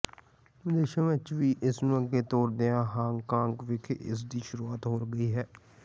ਵਿਦੇਸ਼ਾਂ ਵਿਚ ਵੀ ਇਸ ਨੂੰ ਅੱਗੇ ਤੋਰਦਿਆਂ ਹਾਂਗਕਾਂਗ ਵਿਖੇ ਇਸ ਦੀ ਸ਼ੁਰੂਆਤ ਹੋ ਗਈ ਹੈ